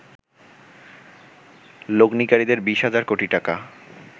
লগ্নিকারীদের ২০ হাজার কোটি টাকা